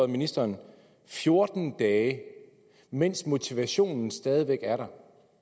ministeren fjorten dage mens motivationen stadig væk er der